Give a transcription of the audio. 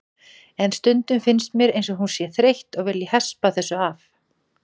En stundum finnst mér eins og hún sé þreytt og vilji hespa þessu af.